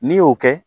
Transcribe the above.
N'i y'o kɛ